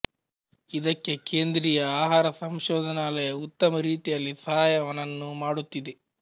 ಇದಕ್ಕೆ ಕೇಂದ್ರಿಯ ಆಹಾರ ಸಂಶೊಧನಾಲಯ ಉತ್ತಮ ರೀತಿಯಲ್ಲಿ ಸಹಾಯವನನ್ನೂ ಮಾಡುತ್ತಿದೆ